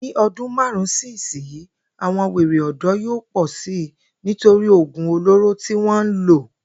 Ní o̩dún márùn-ún sí ìsinyìí, àwo̩n wèrè ò̩dó̩ yóò pò̩ si nítorí ògùn olóró tí wó̩n ń lò